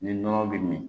Ni nɔnɔ bɛ min